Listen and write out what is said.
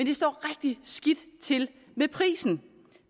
det står rigtig skidt til med prisen